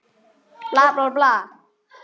Sástu hvað?